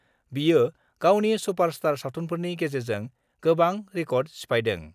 बियो गावनि सुपारस्टार सावथुनफोरनि गेजेरजों गोबां रिकर्ड सिफायदों।